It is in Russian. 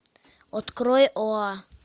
открой оа